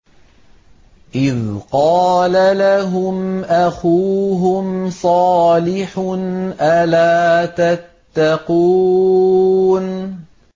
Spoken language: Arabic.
إِذْ قَالَ لَهُمْ أَخُوهُمْ صَالِحٌ أَلَا تَتَّقُونَ